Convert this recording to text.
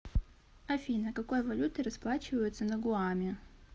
афина какой валютой расплачиваются на гуаме